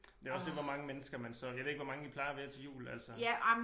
Det jo også det hvor mange mennesker man så jeg ved ikke hvor mange I plejer at være til jul altså